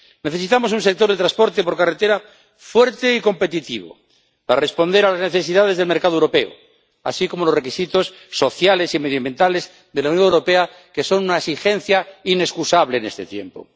Necesitamos un sector de transporte por carretera fuerte y competitivo para responder a las necesidades del mercado europeo, así como a los requisitos sociales y medioambientales de la Unión Europea, que son una exigencia inexcusable en este tiempo.